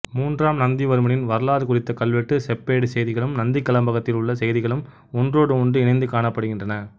மூன்றாம் நந்திவர்மனின் வரலாறு குறித்த கல்வெட்டு செப்பேட்டு செய்திகளும் நந்திக்கலம்பகத்தில் உள்ள செய்திகளும் ஒன்றோடு ஒன்று இணைந்து காணப்படுகின்றன